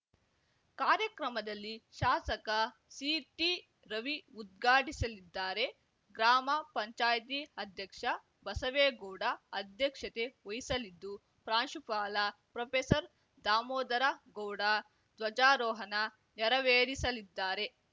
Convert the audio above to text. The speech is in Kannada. ಕಾರ್ಯಕ್ರಮದಲ್ಲಿ ಶಾಸಕ ಸಿಟಿ ರವಿ ಉದ್ಘಾಟಿಸಲಿದ್ದಾರೆ ಗ್ರಾಮ ಪಂಚಾಯಿತಿ ಅಧ್ಯಕ್ಷ ಬಸವೇಗೌಡ ಅಧ್ಯಕ್ಷತೆ ವಹಿಸಲಿದ್ದು ಪ್ರಾಂಶುಪಾಲ ಪ್ರೊಪೆಸರ್ದಾಮೋದರ ಗೌಡ ಧ್ವಜಾರೋಹಣ ನೇರವೇರಿಸಲಿದ್ದಾರೆ